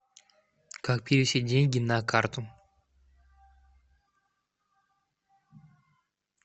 как перевести деньги на карту